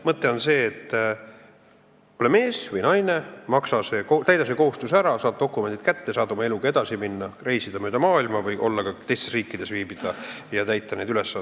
Mõte on see, et ole sa mees või naine, täida see kohustus ära, siis saad dokumendid kätte ja oma eluga edasi minna, mööda maailma reisida või ka teistes riikides viibida ja neid ülesandeid täita.